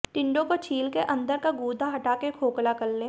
टिंडों को छीलकर अंदर का गूदा हटाकर खोखला कर लें